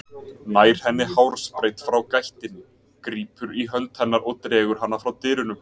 Nær henni hársbreidd frá gættinni, grípur í hönd hennar og dregur hana frá dyrunum.